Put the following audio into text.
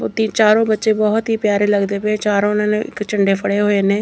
ਚਾਰੋਂ ਬੱਚੇ ਬਹੁਤ ਹੀ ਪਿਆਰੇ ਲੱਗਦੇ ਪਏ ਚਾਰੋਂ ਨੇ ਇੱਕ ਝੰਡੇ ਫੜੇ ਹੋਏ ਨੇ।